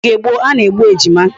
N'oge gboo a na-egbu ejima.